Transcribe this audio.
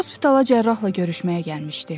Hospitala cərrahla görüşməyə gəlmişdi.